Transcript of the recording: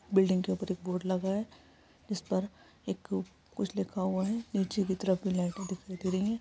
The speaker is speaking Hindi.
बिल्डिंग के ऊपर एक बोर्ड लगा है जिस पर एक कुछ लिखा हुआ है निचे की तरफ लाइटें दिखाई दे रही है।